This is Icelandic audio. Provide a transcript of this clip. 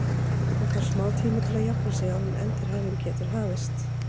Hann þarf smá tíma til að jafna sig áður en endurhæfing getur hafist.